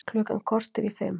Klukkan korter í fimm